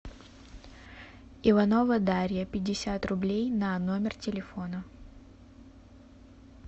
иванова дарья пятьдесят рублей на номер телефона